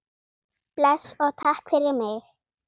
Bless og takk fyrir mig.